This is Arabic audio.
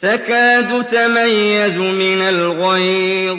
تَكَادُ تَمَيَّزُ مِنَ الْغَيْظِ ۖ